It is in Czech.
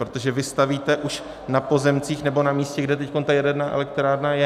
Protože vy stavíte už na pozemcích nebo na místě, kde teď ta jaderná elektrárna je.